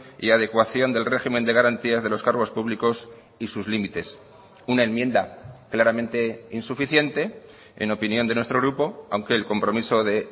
y adecuación del régimen de garantías de los cargos públicos y sus límites una enmienda claramente insuficiente en opinión de nuestro grupo aunque el compromiso de